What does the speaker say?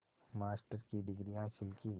master की degree हासिल की